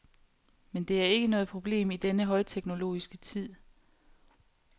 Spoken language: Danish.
Men det er ikke noget problem i denne højteknologiske tid.